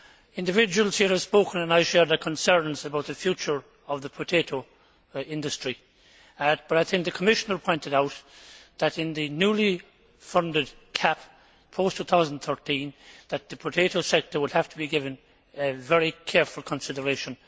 Individuals here have spoken and I share their concerns about the future of the potato industry and, as the Commissioner pointed out, in the newly funded CAP, post 2013, the potato sector would have to be given very careful consideration.